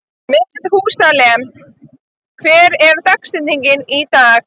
Methúsalem, hver er dagsetningin í dag?